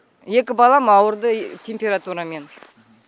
екі балам ауырды температурамен